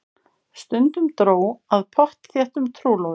Stundum dró að pottþéttum trúlofunum.